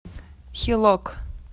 хилок